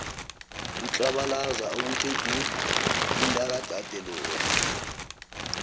utlabalaza okuthe du umtakadade loya